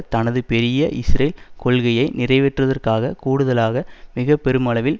தனது பெரிய இஸ்ரேல் கொள்கையை நிறைவேற்றுவதற்காக கூடுதலாக மிக பெருமளவில்